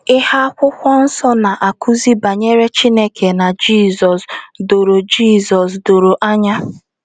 Ihe akwụkwọ nsọ na - akụzi banyere Chineke na Jizọs doro Jizọs doro anya.